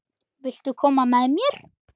Viltu koma með mér?